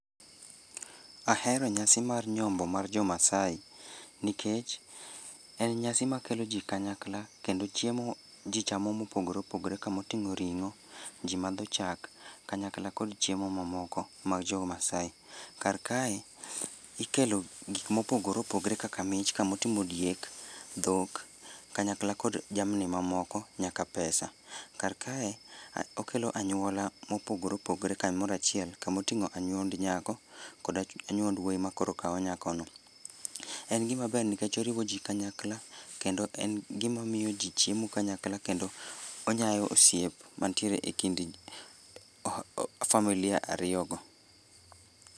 Ahero nyasi mar nyombo mar jo maasai. Nikech, en nyasi makelo jii kanyakla kendo chiemo jii chamo mopogre opogre kamoting'o ring'o, jii madho chak, kanyakla kod chiemo mamoko mag jo maasai. Kar kae, ikelo gik mopogore opogre kaka mich, kamoting'o diek, dhok, kanyakla kod jamni mamoko nyaka pesa. Kar kae, okelo anyuola mopogre opogre kamoro achiel kamoting'o anyuond nyako, kod anyuond wuoyi makoro kaw nyakono. En gima ber nikech oriwo jii kanyakla kendo en gima miyo jii chiemo kanyakla kendo onyayo osiep mantiere e kind familia ariyo go